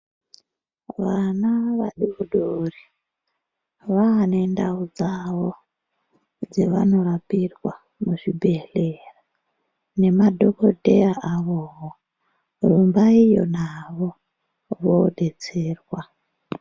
Vana vadori dori vaane ndau dzavo dzevanorapirwa muzvibhedhleya nemadhokodheya avowo. Rumbaiyo nawo kodetserwa.